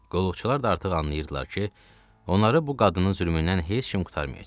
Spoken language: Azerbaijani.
Qulluqçular da artıq anlayırdılar ki, onları bu qadının zülmündən heç kim qurtarmayacaq.